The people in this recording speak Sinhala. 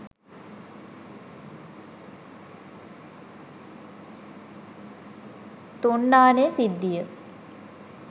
තුන්නානේ සිද්ධිය